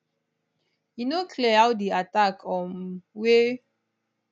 e no clear how di attack um wey